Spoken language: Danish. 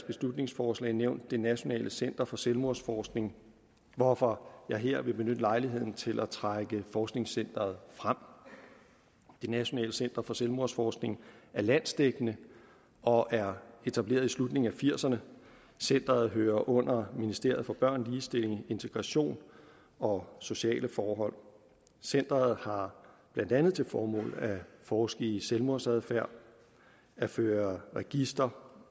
beslutningsforslag nævnt det nationale center for selvmordsforskning hvorfor jeg her vil benytte lejligheden til at trække forskningscenteret frem det nationale center for selvmordsforskning er landsdækkende og er etableret i slutningen af nitten firserne centeret hører under ministeriet for børn ligestilling integration og sociale forhold centeret har blandt andet til formål at forske i selvmordsadfærd at føre register